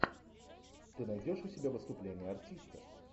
ты найдешь у себя выступление артиста